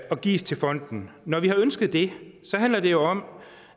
og gives til fonden når vi har ønsket det handler det jo om